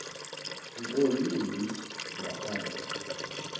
nto yimbi ngaphandle